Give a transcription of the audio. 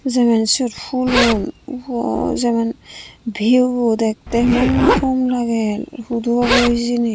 seban siot phoolun bwa jeban vhiew bo dhekkan gom lage hudu obo hijeni.